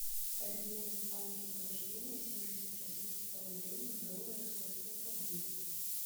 обменять в банке возрождение семьдесят российских рублей на доллары сколько это будет